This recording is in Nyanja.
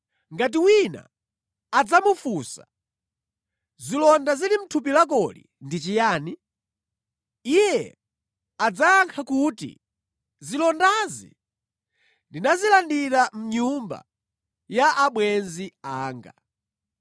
Ngati wina adzamufunsa, ‘Zilonda zili mʼthupi lakoli ndi chiyani?’ Iye adzayankha kuti, ‘Zilondazi ndinazilandira mʼnyumba ya abwenzi anga.’